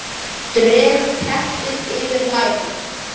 Dreg teppið yfir lærin.